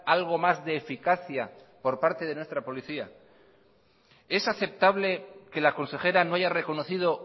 algo más de eficacia por parte de nuestra policía es aceptable que la consejera no haya reconocido